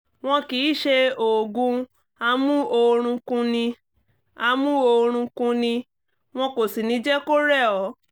wọn kì í ṣe oògùn amú-oorun-kun-ni amú-oorun-kun-ni wọn kò sì ní jẹ́ kó rẹ̀ ọ́